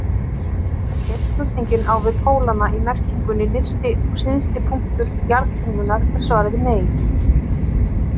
Ef spurningin á við pólana í merkingunni nyrsti og syðsti punktur jarðkringlunnar er svarið nei.